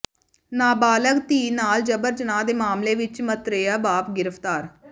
ਨਾਬਾਲਗ ਧੀ ਨਾਲ ਜਬਰ ਜਨਾਹ ਦੇ ਮਾਮਲੇ ਵਿੱਚ ਮਤਰੇਆ ਬਾਪ ਗ੍ਰਿਫ਼ਤਾਰ